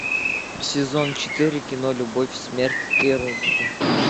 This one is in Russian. сезон четыре кино любовь смерть и роботы